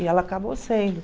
E ela acabou sendo.